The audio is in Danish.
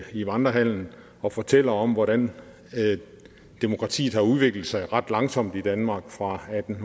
i vandrehallen og fortæller om hvordan demokratiet har udviklet sig ret langsomt i danmark fra atten